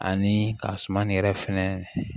Ani ka suman nin yɛrɛ fɛnɛ